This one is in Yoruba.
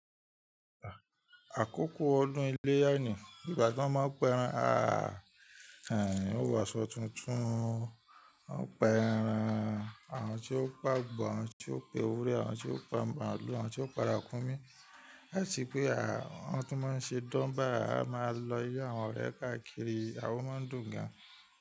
Àkókò ọdún iléyà nì, ìgbà tí wọ́n ma ń pa ẹran, aàh, ó wọ̀sọ tuntun. Wọ́n pa ẹran àwọn tí ó pa àgbò, àwọn tí ó pa ewúrẹ́, àwọn tí ó pa màálù, àwọn tí ó pa ràkúnmí àti pé wọ́n tún má ṣe durbar a má lọ ilé àwọn ọ̀rẹ́ kàkiri ó máa ń dùn gan.